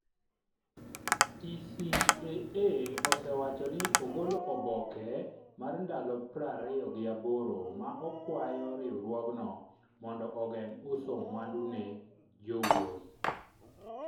TCAA osewacho ni ogolo oboke mar ndalo prariyo gi aboro ma okwayo riwruogno mondo ogeng’ uso mwandu ne jowuoth.